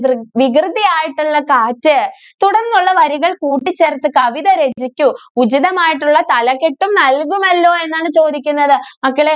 വികൃതി ആയിട്ട് ഉള്ള കാറ്റ് തുടർന്നുള്ള വരികൾ കൂട്ടി ചേർത്ത് കവിത രചിക്കു ഉചിതമായിട്ട് ഉള്ള തലകെട്ടും നല്കുമല്ലോ എന്നാണ് ചോദിക്കുന്നത് മക്കളെ